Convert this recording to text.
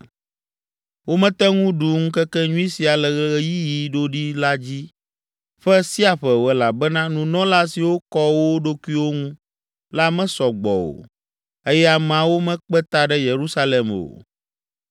Womete ŋu ɖu ŋkekenyui sia le ɣeyiɣi ɖoɖi la dzi ƒe sia ƒe o elabena nunɔla siwo kɔ wo ɖokuiwo ŋu la mesɔ gbɔ o eye ameawo mekpe ta ɖe Yerusalem o.